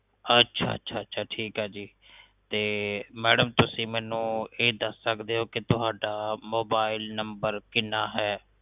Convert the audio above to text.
ਅੱਛਾ ਅੱਛਾ ਠੀਕ ਏ ਜੀ ਤੇ ਮੈਡਮ ਤੁਸੀ ਮੈਨੂੰ ਇਹ ਦੱਸ ਸਕਦੈ ਓ ਕਿ ਤੁਹਾਡਾ ਮੋਬਾਇਲ ਨੰਬਰ ਕਿਨਾ ਹੈ